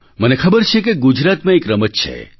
મને ખબર છે કે ગુજરાતમાં એક રમત છે